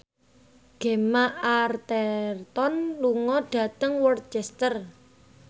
Gemma Arterton lunga dhateng Worcester